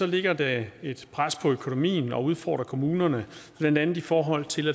lægger det et pres på økonomien og udfordrer kommunerne blandt andet i forhold til